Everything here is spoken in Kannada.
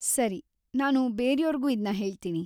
ಸರಿ, ನಾನು ಬೇರ್ಯೋರ್ಗೂ ಇದ್ನ ಹೇಳ್ತೀನಿ.